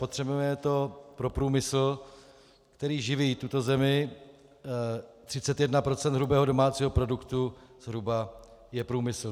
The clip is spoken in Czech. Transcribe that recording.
Potřebujeme to pro průmysl, který živí tuto zemi, 31 % hrubého domácího produktu zhruba je průmysl.